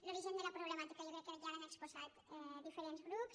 l’origen de la problemàtica jo crec que ja l’han exposat diferents grups